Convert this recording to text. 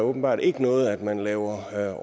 åbenbart ikke noget at man laver